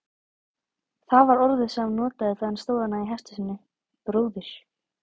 Það var orðið sem hann notaði þegar hann stóð þarna í hesthúsinu: bróðir.